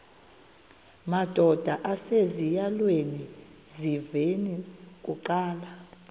madod asesihialweni sivaqal